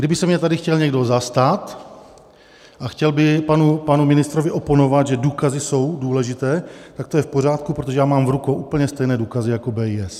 Kdyby se mě tady chtěl někdo zastat a chtěl by panu ministrovi oponovat, že důkazy jsou důležité, tak to je v pořádku, protože já mám v rukou úplně stejné důkazy jako BIS.